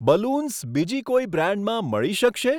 Balloons બીજી કોઈ બ્રાન્ડમાં મળી શકશે?